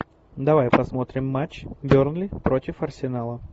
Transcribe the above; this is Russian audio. давай посмотрим матч бернли против арсенала